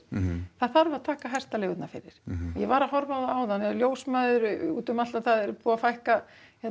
það þarf að taka hestaleigurnar fyrir ég var að horfa á áðan ljósmæður útum allt það er búið að fækka